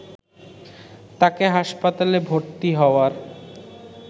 তাকে হাসপাতালে ভর্তি হওয়ার